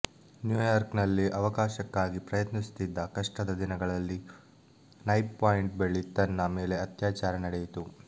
New York ನಲ್ಲಿ ಅವಕಾಶಕ್ಕಾಗಿ ಪ್ರಯತ್ನಿಸುತ್ತಿದ್ದ ಕಷ್ಟದ ದಿನಗಳಲ್ಲಿ ನೈಪ್ ಪಾಯಿಂಟ್ ಬಳಿ ತನ್ನ ಮೇಲೆ ಅತ್ಯಾಚಾರ ನಡೆಯಿತು